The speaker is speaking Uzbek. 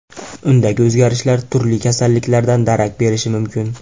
Undagi o‘zgarishlar turli kasalliklardan darak berishi mumkin.